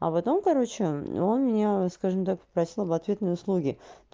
а потом короче он меня скажем так попросил об ответной услуги